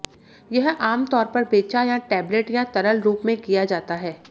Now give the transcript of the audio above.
यह आमतौर पर बेचा या टैबलेट या तरल रूप में किया जाता है